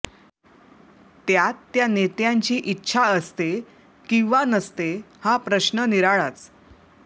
त्यात त्या नेत्यांची इच्छा असते किंवा नसते हा प्रश्न निराळाचं